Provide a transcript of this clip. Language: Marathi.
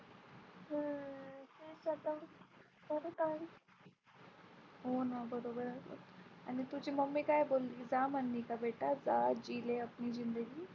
हो ना बरोबर आहे आणि तुझी Mummy काय बोलली जा म्हणाली का बेटा जा जी ले अपनी जिंदगी.